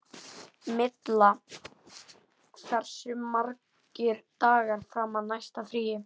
Milla, hversu margir dagar fram að næsta fríi?